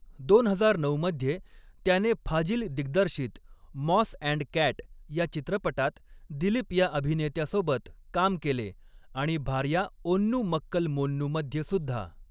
दोन हजार नऊ मध्ये त्याने फाजिल दिग्दर्शित मॉस अँड कॅट या चित्रपटात दिलीप या अभिनेत्यासोबत काम केले आणि भार्या ओन्नू मक्कल मोन्नू मध्येसुद्धा.